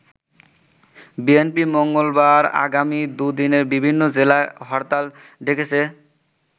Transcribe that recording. BNP মঙ্গলবার আগামী দু'দিনে বিভিন্ন জেলায় হরতাল ডেকেছে।